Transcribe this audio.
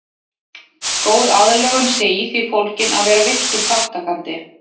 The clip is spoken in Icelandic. Góð aðlögun sé í því fólgin að vera virkur þátttakandi.